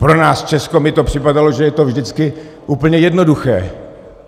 Pro nás, Česko, mi to připadalo, že je to vždycky úplně jednoduché.